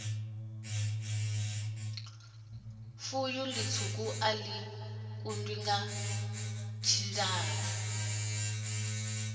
b fuyu litswuka a li